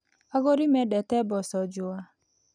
Agũri mendete mboco njũa.